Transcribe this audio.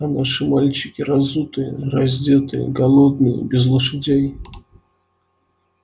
а наши мальчики разутые раздетые голодные без лошадей